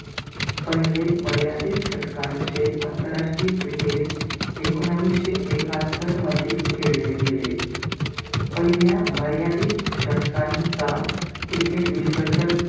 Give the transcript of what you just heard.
पहिले मर्यादित शतकांचे आंतरराष्ट्रीय cricket, एकोणविशे एकात्तर मध्ये खेळले गेले, पहिल्या मर्यादित शतकांचा cricket विश्वचक,